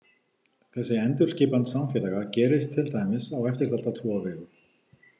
Þessi endurskipan samfélaga gerist til dæmis á eftirtalda tvo vegu.